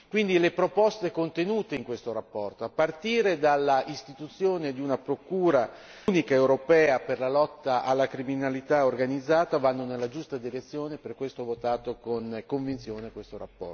Quindi le proposte contenute in questa relazione, a partire dall'istituzione di una procura unica europea per la lotta alla criminalità organizzata vanno nella giusta direzione, per questo ho votato con convinzione questa relazione.